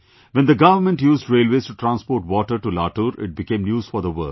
When the government used railways to transport water to Latur, it became news for the world